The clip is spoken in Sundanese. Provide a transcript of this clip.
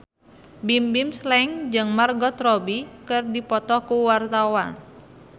Bimbim Slank jeung Margot Robbie keur dipoto ku wartawan